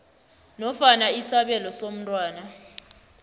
nofana isabelo somntwana